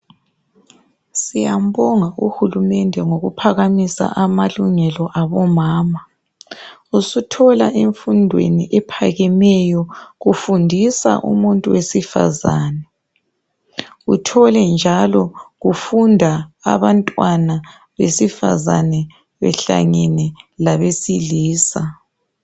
Siyambonga uhulumende ngokuphakamisa amalungelo abomama. Usuthola emfundweni ephakemeyo kufundisa umuntu wesifazane, uthole njalo kufunda abantwana besifazane, behlangene labesilisa.